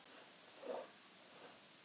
Ég príla aðeins í pólitískum tilgangi